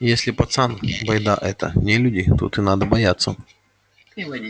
и если пацан байда эта не люди тут и надо бояться